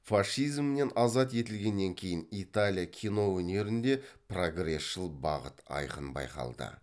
фашизмнен азат етілгеннен кейін италия кино өнерінде прогресшіл бағыт айқын байқалды